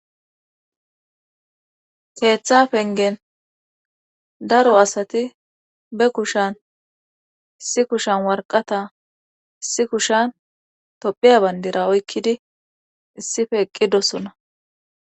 keeththa pengen daro asati be kushan si kushan warqata isi kushan tophiya bandira oykkidi issife eqqidosona